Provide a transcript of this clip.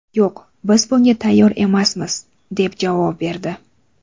Yo‘q, biz bunga tayyor emasmiz, deb javob berdi.